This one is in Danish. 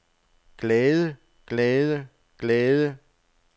glade glade glade